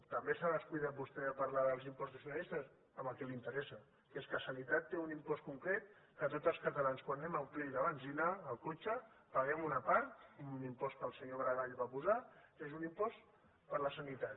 també s’ha descuidat vostè de parlar dels impostos finalistes amb el que li interessa que és que sanitat té un impost concret que tots els catalans quan anem a omplir la benzina al cotxe en paguem una part amb un impost que el senyor maragall va posar que és un impost per a la sanitat